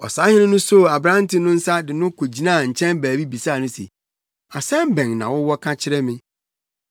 Ɔsahene no soo aberante no nsa de no kogyinaa nkyɛn baabi bisaa no se, “Asɛm bɛn na wowɔ ka kyerɛ me?”